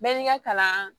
Bɛɛ n'i ka kalan